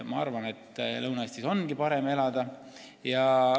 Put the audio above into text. Ma arvan, et Lõuna-Eestis on parem elada.